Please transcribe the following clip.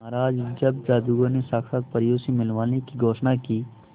महाराज जब जादूगर ने साक्षात परियों से मिलवाने की घोषणा की